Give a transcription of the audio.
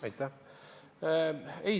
Aitäh!